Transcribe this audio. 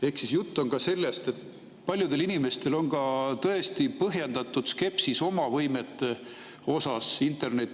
Ehk jutt on ka sellest, et paljudel inimestel on tõesti põhjendatud skepsis oma võimete suhtes interneti.